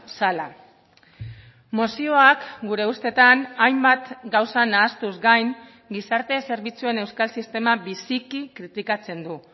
zela mozioak gure ustetan hainbat gauza nahastuz gain gizarte zerbitzuen euskal sistema biziki kritikatzen du